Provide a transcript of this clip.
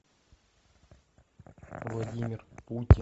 владимир путин